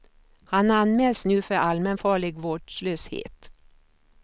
Han anmäls nu för allmänfarlig vårdslöshet.